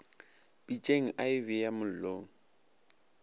pitšeng a e beya mollong